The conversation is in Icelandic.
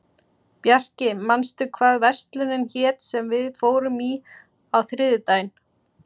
Bjarki, manstu hvað verslunin hét sem við fórum í á þriðjudaginn?